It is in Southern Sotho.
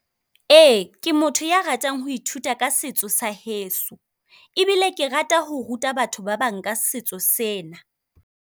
Ee, ke motho ya ratang ho ithuta ka setso sa heso, ebile ke rata ho ruta batho ba bang ka setso sena.